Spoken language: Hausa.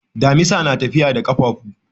Dimisa na tafiya da kafafu.